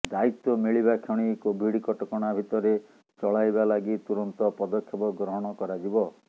ଦାୟିତ୍ବ ମିଳିବା କ୍ଷଣି କୋଭିଡ କଟକଣା ଭିତରେ ଚଳାଇବା ଲାଗି ତୁରନ୍ତ ପଦକ୍ଷେପ ଗ୍ରହଣ କରାଯିବ